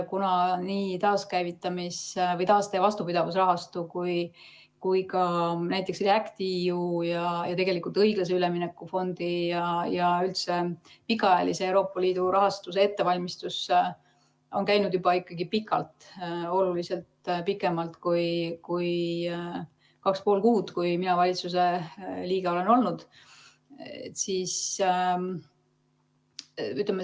Nii taaste‑ ja vastupidavusrahastu kui ka näiteks REACT-EU ja tegelikult õiglase ülemineku fondi ja üldse pikaajalise Euroopa Liidu rahastuse ettevalmistus on käinud juba ikkagi pikalt, oluliselt pikemalt kui kaks ja pool kuud, kui mina valitsuse liige olen olnud.